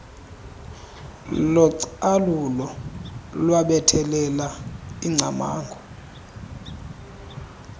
localulo lwabethelela ingcamango